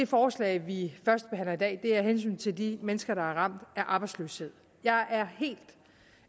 forslag vi førstebehandler i dag er af hensyn til de mennesker der er ramt af arbejdsløshed jeg